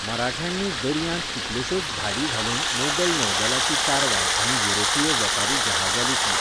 मराठ्यांनी दर्यांत कितलेश्योच धाडी घालून मोगल नौदलाचीं तारवां आनी युरोपीय वेपारी जहाजां लुटलीं.